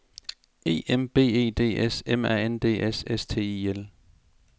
E M B E D S M A N D S S T I L